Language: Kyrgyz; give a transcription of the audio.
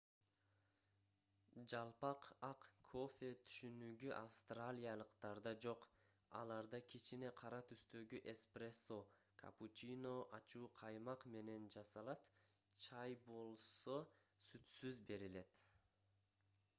"жалпак ак кофе түшүнүгү австралиялыктарда жок. аларда кичине кара түстөгү эспрессо капучино ачуу каймак менен көбүк эмес жасалат чай болсо сүтсүз берилет